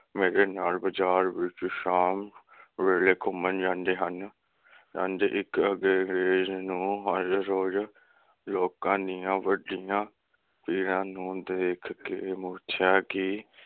ਮੇਰੇ ਨਾਲ ਬਾਜ਼ਾਰ ਵਿਚ ਸ਼ਾਮ ਵੇਲ਼ੇ ਘੁੰਮਣ ਜਾਂਦੇ ਹਨ । ਇਕ ਅੰਗਰੇਜ ਨੂੰ ਹਰ ਰੋਜ਼ ਲੋਕਾਂ ਦੀਆ ਵੱਡੀਆਂ ਭੀੜਾਂ ਨੂੰ ਦੇਖਕੇ ਪੁੱਛਿਆ ਕਿ